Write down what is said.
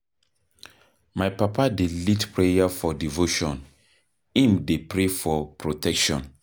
My papa dey lead prayer for devotion, im dey pray for protection.